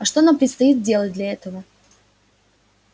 а что нам предстоит делать для этого